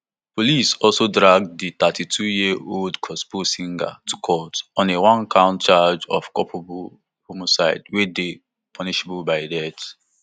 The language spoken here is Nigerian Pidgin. police also drag di thirty-twoyearold gospel singer to court on a onecount charge of culpable homicide wey dey punishable by death